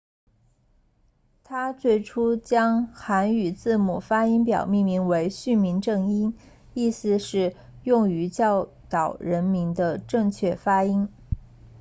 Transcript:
他最初将韩语字母发音表命名为训民正音意思是用于教导人民的正确发音